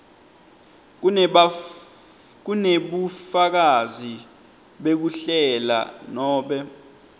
kunebufakazi bekuhlela nobe